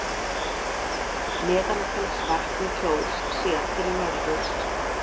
Meðalfellsvatn í Kjós, séð til norðurs.